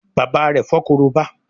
bàbá rẹ fo Korobá